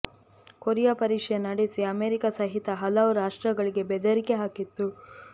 Korea ಪರೀಕ್ಷೆ ನಡೆಸಿ America ಸಹಿತ ಹಲವು ರಾಷ್ಟ್ರಗಳಿಗೆ ಬೆದರಿಕೆ ಹಾಕಿತ್ತು